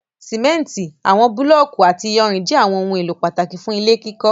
Simenti, awọn bulọọki ati iyanrin jẹ awọn ohun elo pataki fun ile kikọ